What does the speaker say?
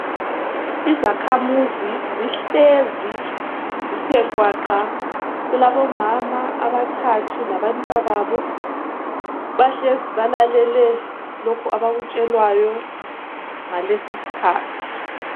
Izakhamuzi zihlezi zithe gwaqa, kulabo mama abathathu labantwababo, bahlezi balalele lokhu abakutshelwayo ngalesi isikhathi.